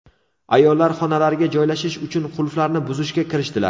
Ayollar xonalarga joylashish uchun qulflarni buzishga kirishdilar.